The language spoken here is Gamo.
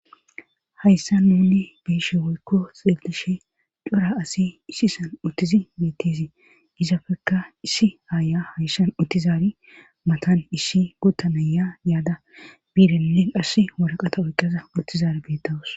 hayssa nuni biishe woykko xeelishe cora asi isi san uttizi mittizii izafekka issi aaya hayssan uttizaari matan issi gottanaya yaada biirenne qass waraqata oyqqaza uttizar beettawus